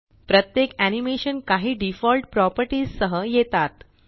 प्रत्येक एनीमेशन काही default properties सह येतात